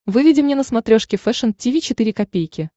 выведи мне на смотрешке фэшн ти ви четыре ка